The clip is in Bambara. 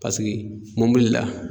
Paseke mɔbili la.